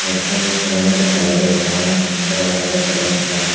लड़का भी खड़ा हुआ दिखाई दे रहा है पत्थर वगैरह सब रखा है।